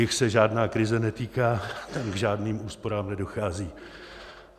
Jich se žádná krize netýká, tam k žádným úsporám nedochází.